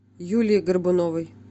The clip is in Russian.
юлии горбуновой